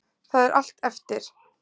Það er allt eftir.